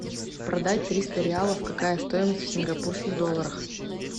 продать триста реалов какая стоимость в сингапурских долларах